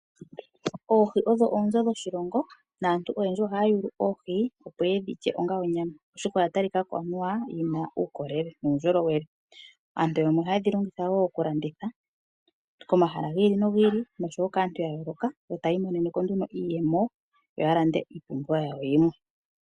Oohi odho oonzo dhoshilongo naantu oyendji ohaya yulu oohi, opo ye dhi lye onga onyama, oshoka oya talika ko anuwa yi na uukolele nuundjolowele. Aantu yamwe ohaye dhi longitha wo okulanditha komahala gi ili nogi ili yo taya imonene ko wo iiyemo yo ya lande iipumbiwa yawo yimwe.